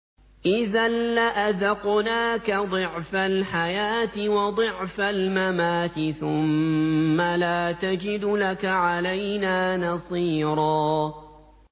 إِذًا لَّأَذَقْنَاكَ ضِعْفَ الْحَيَاةِ وَضِعْفَ الْمَمَاتِ ثُمَّ لَا تَجِدُ لَكَ عَلَيْنَا نَصِيرًا